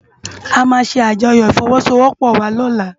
Amá sé ájòyò ifòwòsówòpò wá lòlá